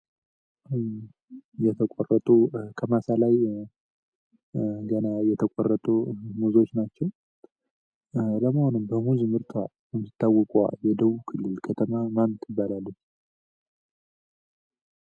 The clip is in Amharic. ከማሳ ላይ ገና የተቆረጡ ሙዞች ናቸው። በሙዝ ምርቷ የምትታወቀው የደቡብ ክልል ከተማ ማን ትባላለች?